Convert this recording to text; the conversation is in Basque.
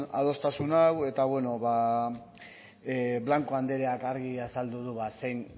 hau eta bueno bada blanco andreak argi azaldu du